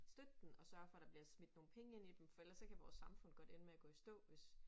Støtte den og sørge for der bliver smidt nogle penge ind i dem for ellers så kan vores samfund godt ende med at gå i stå hvis